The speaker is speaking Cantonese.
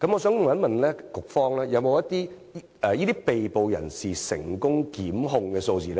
請問局方有沒有這些被捕人士的成功檢控數字？